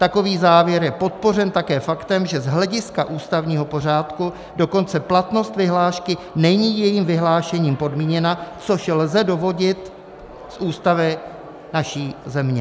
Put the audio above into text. Takový závěr je podpořen také faktem, že z hlediska ústavního pořádku dokonce platnost vyhlášky není jejím vyhlášením podmíněna, což lze dovodit z Ústavy naší země.